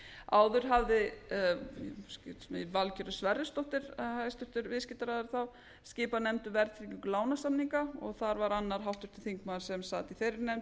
áður hafði valgerður sverrisdóttir hæstvirtur viðskiptaráðherra þá skipað nefnd um verðtryggingu lánasamninga og þar var annar háttvirtur þingmaður sem sat í þeirri nefnd